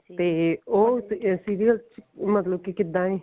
ਤੇ ਉਹ serial ਮਤਲਬ ਕੀ ਕਿੱਦਾਂ ਏ